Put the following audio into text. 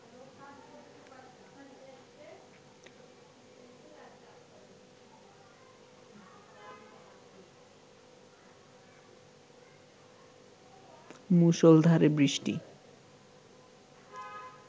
মুষলধারে বৃষ্টি